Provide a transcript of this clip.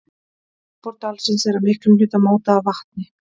Yfirborð dalsins er að miklum hluta mótað af vatni.